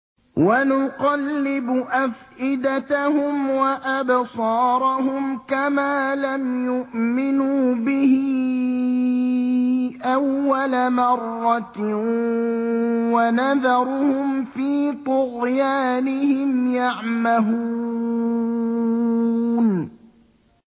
وَنُقَلِّبُ أَفْئِدَتَهُمْ وَأَبْصَارَهُمْ كَمَا لَمْ يُؤْمِنُوا بِهِ أَوَّلَ مَرَّةٍ وَنَذَرُهُمْ فِي طُغْيَانِهِمْ يَعْمَهُونَ